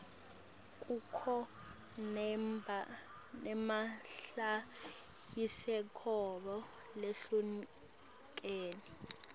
kukho naemabhayisikobho lahlukene